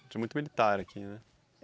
Tinha muito militar aqui, né?